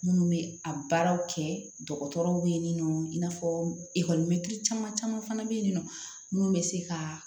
Minnu bɛ a baaraw kɛ dɔgɔtɔrɔw bɛ yen nɔ i n'a fɔ ekɔlimɛtiri caman caman fana bɛ yen nɔ munnu bɛ se ka